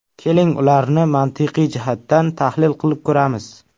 Keling ularni mantiqiy jihatdan tahlil qilib ko‘ramiz.